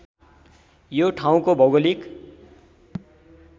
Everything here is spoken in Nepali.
यो ठाउँको भौगोलिक